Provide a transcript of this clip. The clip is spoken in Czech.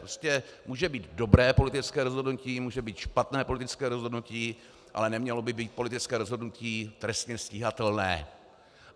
Prostě může být dobré politické rozhodnutí, může být špatné politické rozhodnutí, ale nemělo by být politické rozhodnutí trestně stíhatelné.